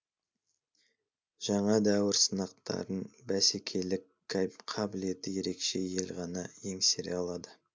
жаңа дәуір сынақтарын бәсекелік қабілеті ерекше ел ғана еңсере алады